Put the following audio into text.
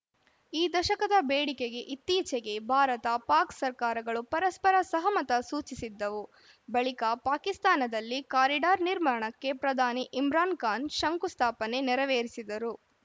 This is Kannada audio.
ಈ ದಶಕದ ಬೇಡಿಕೆಗೆ ಇತ್ತೀಚೆಗೆ ಭಾರತಪಾಕ್‌ ಸರ್ಕಾರಗಳು ಪರಸ್ಪರ ಸಹಮತ ಸೂಚಿಸಿದ್ದವು ಬಳಿಕ ಪಾಕಿಸ್ತಾನದಲ್ಲಿ ಕಾರಿಡಾರ್‌ ನಿರ್ಮಾಣಕ್ಕೆ ಪ್ರಧಾನಿ ಇಮ್ರಾನ್‌ ಖಾನ್‌ ಶಂಕುಸ್ಥಾಪನೆ ನೆರವೇರಿಸಿದ್ದರು